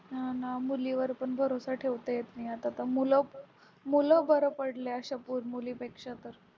हा ना मुली वर भरोसा ठेवता येत नाही आता तर मूल बरे पडले अश्या मुलीपेक्षा तर